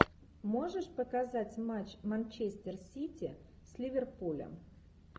можешь показать матч манчестер сити с ливерпулем